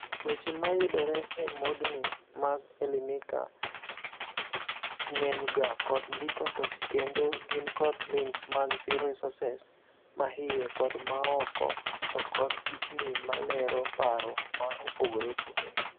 Weche ma yudore e modni mag Elimika ng'enyga kod ndiko to kendo gin kod links mag resources mahiye kod maooko to kod pichni malero paro ma opogore opogore.